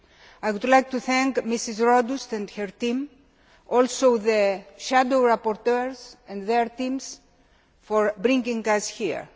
I would like to thank Ms Rodust and her team and also the shadow rapporteurs and their teams for bringing us here.